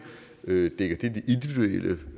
det